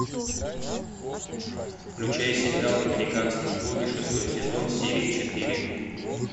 включай сериал американские боги шестой сезон серия четыре